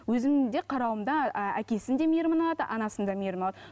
өзімнің де қарауымда ііі әкесінің де мейірімін алады анасының да мейірімін алады